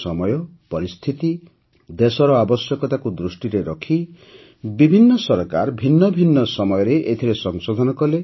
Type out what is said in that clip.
ସମୟ ପରିସ୍ଥିତି ଦେଶର ଆବଶ୍ୟକତାକୁ ଦୃଷ୍ଟିରେ ରଖି ବିଭିନ୍ନ ସରକାର ଭିନ୍ନ ଭିନ୍ନ ସମୟରେ ଏଥିରେ ସଂଶୋଧନ କଲେ